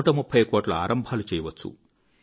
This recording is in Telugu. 130 కోట్ల ఆరంభాలు చేయవచ్చు